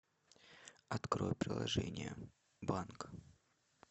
открой приложение банк